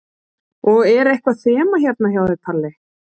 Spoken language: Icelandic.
Og er eitthvað þema hérna hjá þér, Palli?